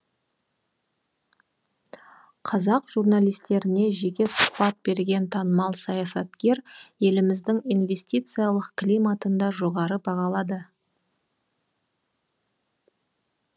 қазақ журналистеріне жеке сұхбат берген танымал саясаткер еліміздің инвестициялық климатын да жоғары бағалады